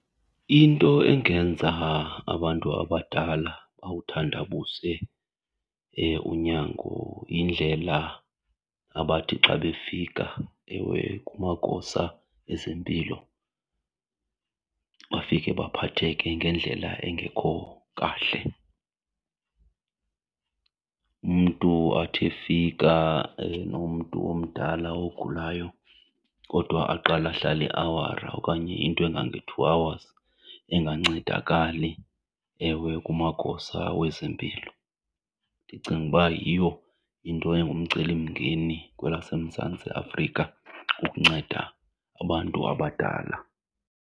Into engenza abantu abadala bawuthandabuze unyango yindlela abathi xa befika ewe kumagosa ezempilo bafike baphatheke ngendlela engekho kahle. Umntu athi efika enomntu omdala ogulayo kodwa aqale ahlale iawari okanye into engange-two hours engancedakali ewe kumagosa wezempilo. Ndicinga uba yiyo into engumcelimngeni kwelaseMzantsi Afrika ukunceda abantu abadala.